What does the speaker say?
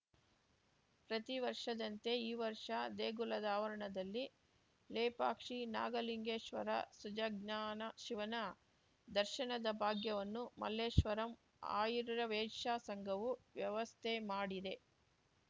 ಪ್ರತಿವರ್ಷದಂತೆ ಈ ವರ್ಷ ದೇಗುಲದ ಆವರಣದಲ್ಲಿ ಲೇಪಾಕ್ಷಿ ನಾಗಲಿಂಗೇಶ್ವರ ಸುಜಜ್ಞಾನ ಶಿವನ ದರ್ಶನದ ಭಾಗ್ಯವನ್ನು ಮಲ್ಲೇಶ್ವರಂ ಆರ್ಯವೈಶ್ಯ ಸಂಘವು ವ್ಯವಸ್ಥೆ ಮಾಡಿದೆ